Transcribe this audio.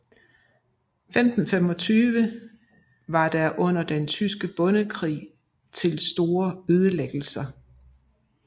I 1525 var der under Den tyske bondekrig til store ødelæggelser